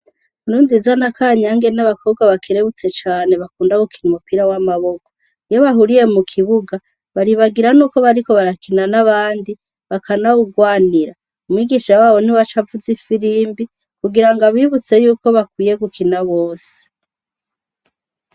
Nkurunziza na kanyange n'abakobwa bakirebutse cane bakunda gukina umupira w'amaboko iyo bahuriye mu kibuga baribagira n'uko bariko barakina n'abandi bakanawugwanira umwigishra wabo ni we acaavuze ifirimbi kugira ngo abibutse yuko bakwiye gukina bose.